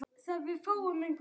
Þær eru of auðveld bráð.